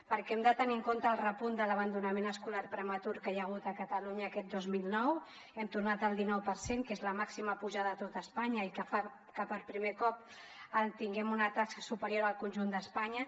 perquè hem de tenir en compte el repunt de l’abandonament escolar prematur que hi ha hagut a catalunya aquest dos mil dinou hem tornat el dinou per cent que és la màxima pujada a tot espanya i que fa que per primer cop tinguem una taxa superior al conjunt d’espanya